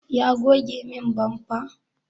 Ya goge min bamfa?